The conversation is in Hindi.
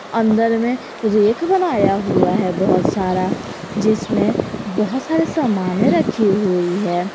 अंदर में एक बनाया हुआ है बहुत सारा जिसमें बहुत सारे सामाने रखी हुई है।